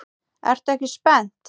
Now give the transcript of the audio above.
Ertu ekki spennt?